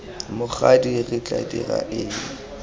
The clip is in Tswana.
mokgadi re tla dira eng